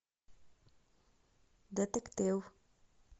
детектив